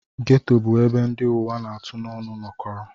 Geto bụ ebe ndị ụwa na-atụ n'ọnụ nọkọrọ.